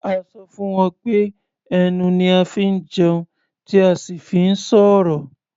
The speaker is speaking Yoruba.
A sọ fún wọn pé ẹnu ni a fi ń jẹun tí a sì fi ń sọ̀rọ̀.